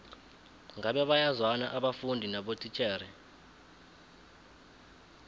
ngabe bayazwana abafundi nabotitjhere